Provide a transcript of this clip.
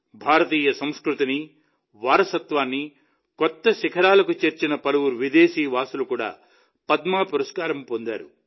భారతీయ సంస్కృతిని వారసత్వాన్ని కొత్త శిఖరాలకు చేర్చిన పలువురు విదేశీ వాసులు కూడా పద్మ పురస్కారం పొందారు